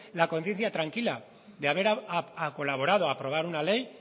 la conciencia tranquila de haber colaborado a aprobar una ley